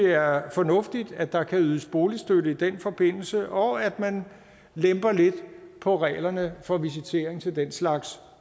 er fornuftigt at der kan ydes boligstøtte i den forbindelse og at man lemper lidt på reglerne for visitering til den slags